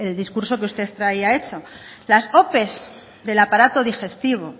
discurso que usted traía hecho las ope del aparato digestivo